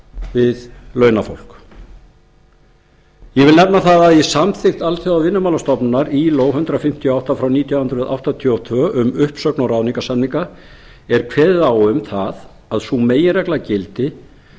við launafólk ég vil nefna það að í samþykkt alþjóðavinnumálastofnunarinnar ilo hundrað fimmtíu og átta frá nítján hundruð áttatíu og tvö um uppsögn og ráðningarsamninga er kveðið á um það að sú meginregla gildi